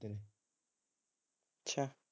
ਹਮ ਅੱਛਾ